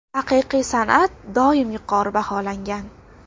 Haqiqiy san’at doim yuqori baholangan.